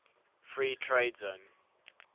free trade zone